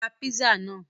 Ra písà náà!